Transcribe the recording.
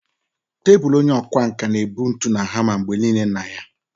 Tebụl onye ọkwá nkà na-ebu ntu na hama mgbe nile na ya.